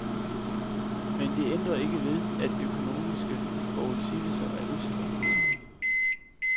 Men det ændre ikke ved, at økonomiske forudsigelser er usikre.